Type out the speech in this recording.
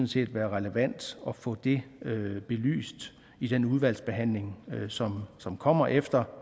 set være relevant at få det belyst i den udvalgsbehandling som som kommer efter